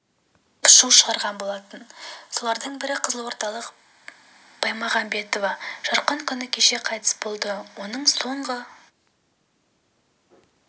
деп шу шығарған болатын солардың бірі қызылордалық баймағамбетова жарқын күні кеше қайтыс болды оның соңғы